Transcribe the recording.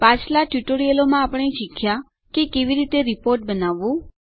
પાછલાં ટ્યુટોરીયલોમાં આપણે શીખ્યાં કે કેવી રીતે રીપોર્ટ બનાવવું